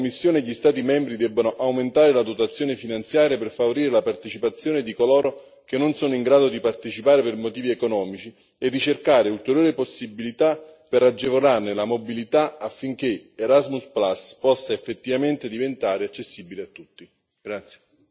Ritengo che la Commissione e gli Stati membri debbano aumentare la dotazione finanziaria per favorire la partecipazione di coloro che non sono in grado di partecipare per motivi economici e cercare ulteriori possibilità per agevolarne la mobilità affinché Erasmus possa effettivamente diventare accessibile a tutti.